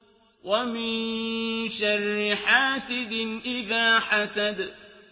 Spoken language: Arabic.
وَمِن شَرِّ حَاسِدٍ إِذَا حَسَدَ